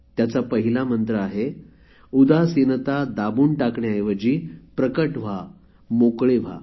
त्याचा पहिला मंत्र आहे उदासीनता दाबून टाकण्याऐवजी प्रगट व्हा मोकळे व्हा